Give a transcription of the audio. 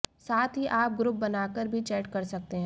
साथ ही आप ग्रुप बनाकर भी चैट कर सकते हैं